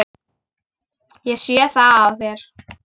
Ég sé það á þér.